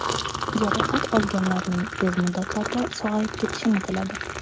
Jarohat olganlarning tez muddatlarda sog‘ayib ketishini tiladi.